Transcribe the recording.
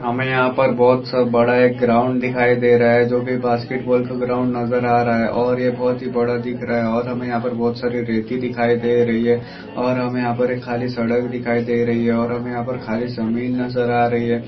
हमे यहा पर बहुत सा बड़ा एक ग्राउंड दिखाई दे रहा है जो की बास्केट बॉल का ग्राउंड नजर आ रहा है और ये बहुत ही बड़ा दिख रहा है और हमे यहा पर बहुत सारा रेती दिखाई दे रही है। और हमे यहा पर एक खाली सड़क दिखाई दे रही है और हमे यहा पर खाली जमीन नजर आ रही है।